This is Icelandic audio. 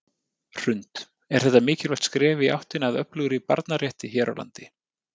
Hrund: Er þetta mikilvægt skref í áttina að öflugri barnarétti hér á landi?